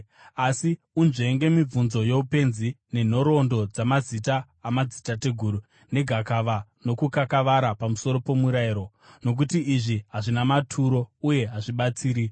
Asi unzvenge mibvunzo youpenzi nenhoroondo dzamazita amadzitateguru, negakava nokukakavara pamusoro pomurayiro, nokuti izvi hazvina maturo uye hazvibatsiri.